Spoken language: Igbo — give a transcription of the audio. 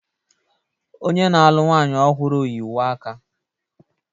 Onye na-alụ nwanyị ọhụrụ yi uwe aka